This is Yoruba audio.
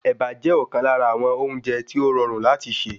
Ẹ̀bà jẹ́ ọ̀kan lára àwọn oúnjẹ tí o rọrùn láti ṣe.